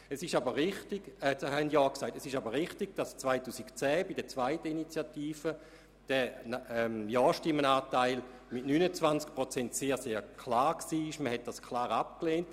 Es ist aber auch richtig, dass bei der zweiten Initiative 2010 der Ja-StimmenAnteil bei 29 Prozent lag und die Ablehnung dort also sehr klar war.